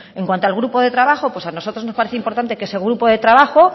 en cuanto al grupo de trabajo pues a nosotros nos parece importante que ese grupo de trabajo